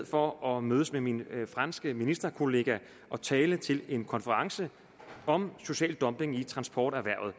for at mødes med min franske ministerkollega og tale til en konference om social dumping i transporterhvervet